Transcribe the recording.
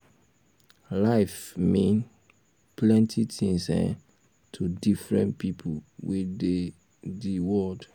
life mean um plenty things um to different pipo wey dey di um world